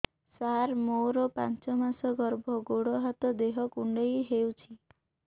ସାର ମୋର ପାଞ୍ଚ ମାସ ଗର୍ଭ ଗୋଡ ହାତ ଦେହ କୁଣ୍ଡେଇ ହେଉଛି